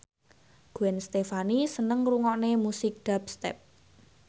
Gwen Stefani seneng ngrungokne musik dubstep